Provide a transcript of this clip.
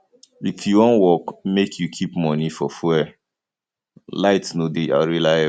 if you wan work make you keep moni for fuel light no dey reliable